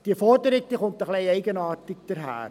Diese Forderung kommt etwas eigenartig daher.